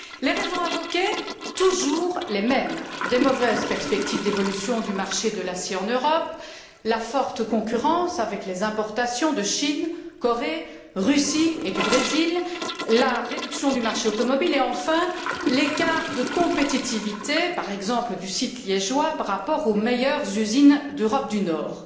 Les raisons invoquées sont toujours les mêmes les mauvaises perspectives d'évolution du marché de l'acier en Europe, la forte concurrence avec les importations de Chine, de Corée, de Russie et du Brésil, la réduction du marché automobile et, enfin, l'écart de compétitivité, par exemple du site liégeois par rapport aux meilleures usines d'Europe du Nord.